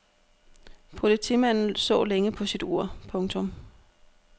Politimanden så længe på sit ur. punktum